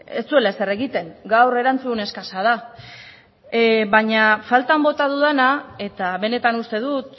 ez zuela ezer egiten gaur erantzun eskasa da baina faltan bota dudana eta benetan uste dut